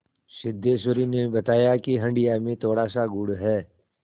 सिद्धेश्वरी ने बताया कि हंडिया में थोड़ासा गुड़ है